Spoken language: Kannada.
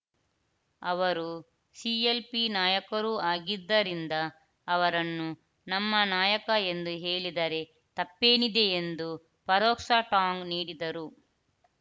ಅವರು ಸಿಎಲ್‌ಪಿ ನಾಯಕರೂ ಆಗಿದ್ದರಿಂದ ಅವರನ್ನು ನಮ್ಮ ನಾಯಕ ಎಂದು ಹೇಳಿದರೆ ತಪ್ಪೇನಿದೆ ಎಂದು ಪರೋಕ್ಷ ಟಾಂಗ್‌ ನೀಡಿದರು